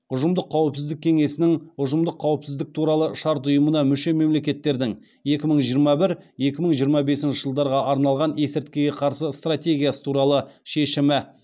ұжымдық қауіпсіздік кеңесінің ұжымдық қауіпсіздік туралы шарт ұйымына мүше мемлекеттердің екі мың жиырма бір екі мың жиырма бесінші жылдарға арналған есірткіге қарсы стратегиясы туралы шешімі